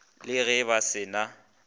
le ge ba se na